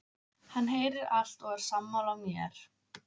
Hann heyrir allt og er sammála mér.